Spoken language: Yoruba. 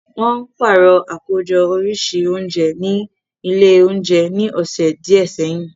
Wọ́n pàrọ̀ àkójọ oríṣi oúnjẹ ní ilé oúnjẹ ní ọ̀sẹ̀ díẹ̀ sẹ́yìn